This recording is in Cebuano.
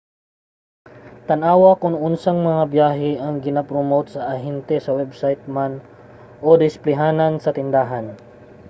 tan-awa kon unsang mga biyahe ang gina-promote sa ahente sa website man o sa displeyhanan sa tindahan